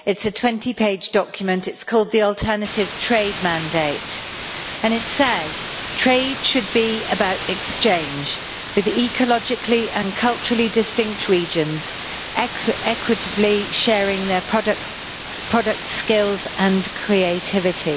It is a 20 page document called the Alternative Trade Mandate and it says trade should be about exchange with ecologically and culturally distinct regions, equitably sharing their product skills and creativity.